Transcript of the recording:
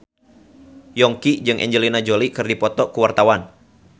Yongki jeung Angelina Jolie keur dipoto ku wartawan